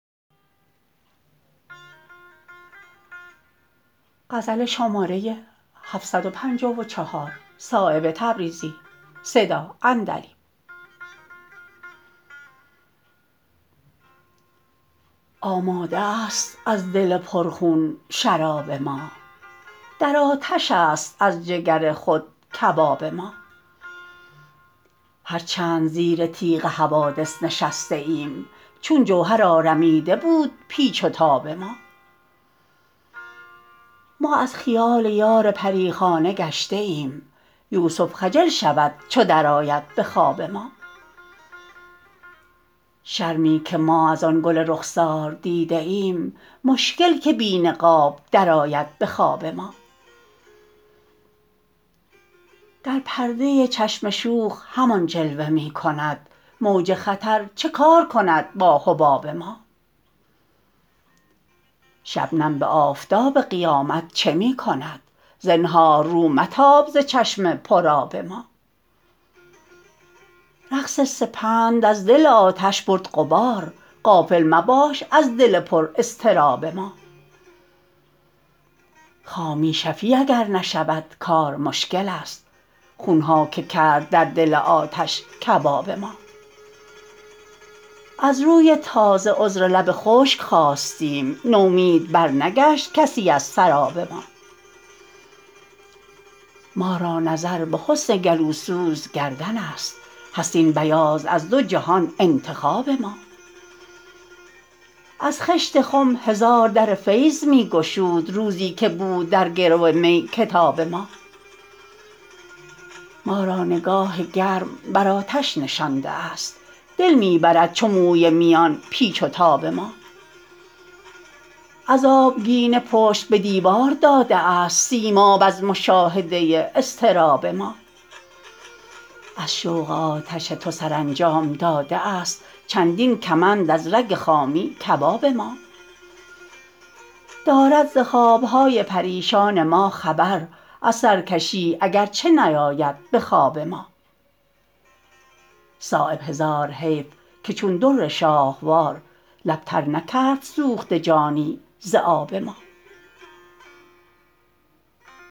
آماده است از دل پر خون شراب ما در آتش است از جگر خود کباب ما هر چند زیر تیغ حوادث نشسته ایم چون جوهر آرمیده بود پیچ و تاب ما ما از خیال یار پریخانه گشته ایم یوسف خجل شود چو درآید به خواب ما شرمی که ما ازان گل رخسار دیده ایم مشکل که بی نقاب درآید به خواب ما در پرده چشم شوخ همان جلوه می کند موج خطر چه کار کند با حباب ما شبنم به آفتاب قیامت چه می کند زنهار رو متاب ز چشم پر آب ما رقص سپند از دل آتش برد غبار غافل مباش از دل پر اضطراب ما خامی شفیع اگر نشود کار مشکل است خونها که کرد در دل آتش کباب ما از روی تازه عذر لب خشک خواستیم نومید برنگشت کسی از سراب ما ما را نظر به حسن گلوسوز گردن است هست این بیاض از دو جهان انتخاب ما از خشت خم هزار در فیض می گشود روزی که بود در گرو می کتاب ما ما را نگاه گرم بر آتش نشانده است دل می برد چو موی میان پیچ و تاب ما از آبگینه پشت به دیوار داده است سیماب از مشاهده اضطراب ما از شوق آتش تو سرانجام داده است چندین کمند از رگ خامی کباب ما دارد ز خوابهای پریشان ما خبر از سرکشی اگر چه نیاید به خواب ما صایب هزار حیف که چون در شاهوار لب تر نکرد سوخته جانی ز آب ما